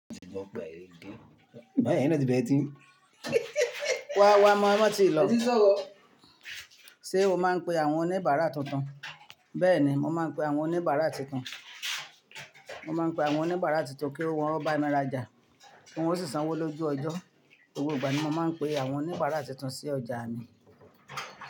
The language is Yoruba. Ṣé o máa ń pe àwọn oníbàárà tuntun? Bẹ́ẹ̀ni, mo máa ń pe àwọn oníbàárà tuntun. Mo máa ń pe àwọn oníbàárà tuntun kí wọ́n ó bá mi rajà, kí wọ́n ó sì sanwó lójú ọjọ́. Gbogbo ìgbà ni mo máa ń pe àwọn oníbàárà tuntun sí ọjà mi.